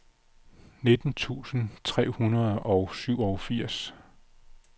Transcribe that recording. nitten tusind tre hundrede og syvogfirs